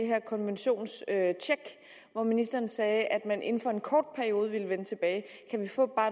her konventionstjek hvor ministeren sagde at man inden for en kort periode ville vende tilbage kan vi få